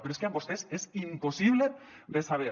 però és que amb vostès és impossible de saber